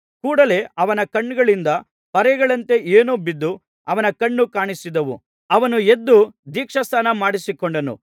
ಕೂಡಲೇ ಅವನ ಕಣ್ಣುಗಳಿಂದ ಪರೆಗಳಂತೆ ಏನೋ ಬಿದ್ದು ಅವನ ಕಣ್ಣು ಕಾಣಿಸಿದವು ಅವನು ಎದ್ದು ದೀಕ್ಷಾಸ್ನಾನ ಮಾಡಿಸಿಕೊಂಡನು